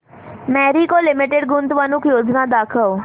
Marico limited गुंतवणूक योजना दाखव